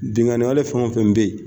Binkanin wale fɛn o fɛn bɛ yen.